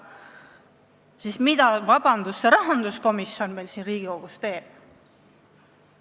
Vabandust, mida see rahanduskomisjon meil siin teeb?